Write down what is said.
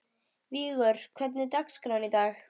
Vigur, hvernig er dagskráin í dag?